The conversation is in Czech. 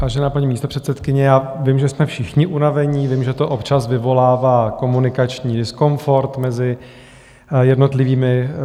Vážená paní místopředsedkyně, já vím, že jsme všichni unavení, vím, že to občas vyvolává komunikační diskomfort mezi jednotlivými.